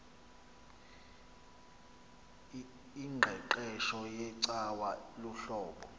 ingqeqesho yecawa luhlobo